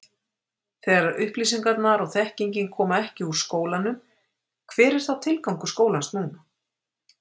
Þegar upplýsingarnar og þekkingin koma ekki úr skólanum hver er þá tilgangur skólans núna?